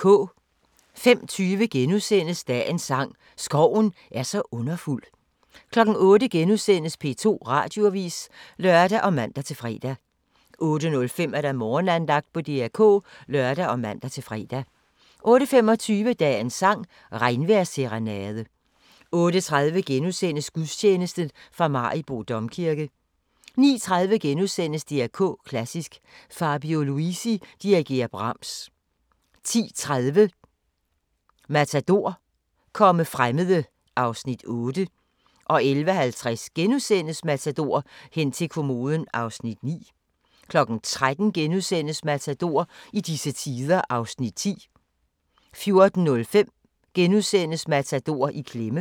05:20: Dagens sang: Skoven er så underfuld * 08:00: P2 Radioavis *(lør og man-fre) 08:05: Morgenandagten på DR K (lør og man-fre) 08:25: Dagens sang: Regnvejrsserenade 08:30: Gudstjeneste fra Maribo Domkirke * 09:30: DR K Klassisk: Fabio Luisi dirigerer Brahms * 10:30: Matador – Komme fremmede (Afs. 8) 11:50: Matador - hen til kommoden (Afs. 9)* 13:00: Matador - i disse tider (Afs. 10)* 14:05: Matador - I klemme *